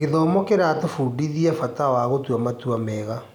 Gĩthomo kĩratũbundithia bata wa gũtua matua mega.